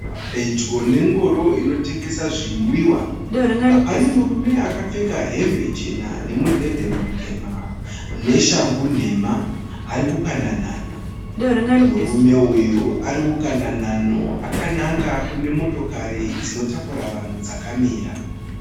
Pedyo nengoro inotengesa zvinwiwa. Pane murume akapfeka hembe chena nemudhebhe mutema neshangu nhema. ari kukanda nhanho. Murume uyu ari kukanda nhano akananga kune motokari dzinotakura vanhu dzakamira.